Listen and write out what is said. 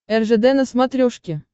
ржд на смотрешке